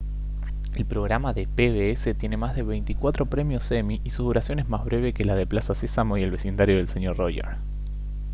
el programa de pbs tiene más de veinticuatro premios emmy y su duración es más breve que la de plaza sésamo y el vecindario del señor roger